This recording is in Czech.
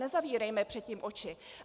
Nezavírejme před tím oči.